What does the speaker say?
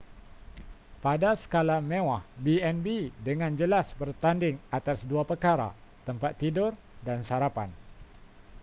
pada skala mewah b&b dengan jelas bertanding atas dua perkara tempat tidur dan sarapan